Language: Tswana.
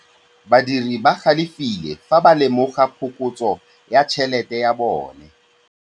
Badiri ba galefile fa ba lemoga phokotsô ya tšhelête ya bone.